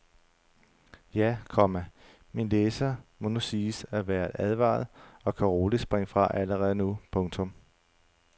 Ja, komma min læser må nu siges at være advaret og kan roligt springe fra allerede nu. punktum